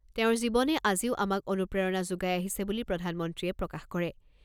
তেওঁৰ জীৱনে আজিও আমাক অনুপ্ৰেৰণা যোগাই আহিছে বুলি প্ৰধানমন্ত্ৰীয়ে প্ৰকাশ কৰে।